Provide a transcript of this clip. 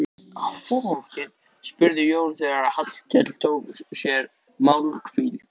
spurði Jón þegar Hallkell tók sér málhvíld.